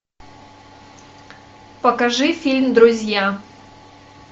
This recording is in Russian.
покажи фильм друзья